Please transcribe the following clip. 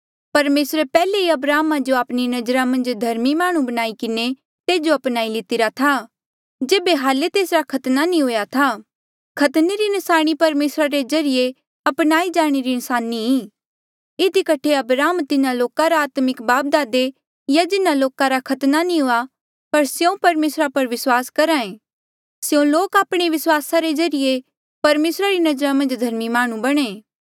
परमेसरे पैहले ही अब्राहमा जो आपणी नजरा मन्झ धर्मी माह्णुं बणाई किन्हें तेजो अपनाई लितिरा था जेबे हाल्ले तेसरा खतना नी हुआ था खतने री न्साणी परमेसरा रे ज्रीए अपनाई जाणे रा न्साणी इधी कठे अब्राहम तिन्हा लोका रा आत्मिक बापदादे आ जिन्हा लोका रा खतना नी हुआ पर स्यों परमेसरा पर विस्वास करहे स्यों लोक आपणे विस्वासा रे ज्रीए परमेसरा री नजरा मन्झ धर्मी माह्णुं बणे